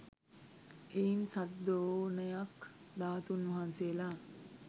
එයින් සත් ද්‍රෝණයක් ධාතූන් වහන්සේලා